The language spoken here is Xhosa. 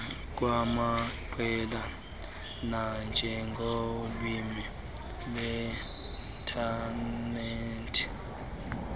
kwamaqela nanjengolwimi lweinthanethi